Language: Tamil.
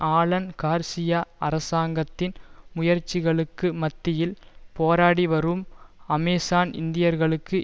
ஆலன் கார்சியா அரசாங்கத்தின் முயற்சிகளுக்கு மத்தியில் போராடி வரும் அமேசான் இந்தியர்களுக்கு